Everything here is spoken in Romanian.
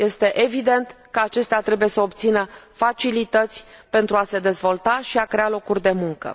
Este evident că acestea trebuie să obțină facilități pentru a se dezvolta și a crea locuri de muncă.